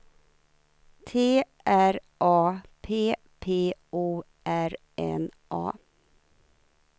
T R A P P O R N A